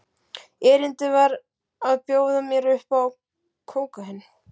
Erindið var að bjóða mér upp á kókaín.